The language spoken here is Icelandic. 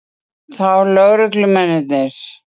Kristján Már Unnarsson: Þá lögreglumennirnir?